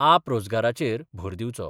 आप रोजगाराचेर भर दिवचो.